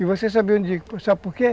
E você sabia o dia, sabe por quê?